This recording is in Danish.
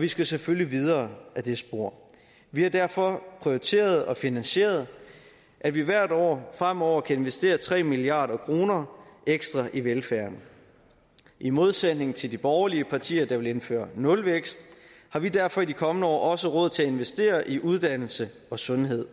vi skal selvfølgelig videre ad det spor vi har derfor prioriteret og finansieret at vi hvert år fremover kan investere tre milliard kroner ekstra i velfærden i modsætning til de borgerlige partier der vil indføre nulvækst har vi derfor i de kommende år også råd til at investere i uddannelse og sundhed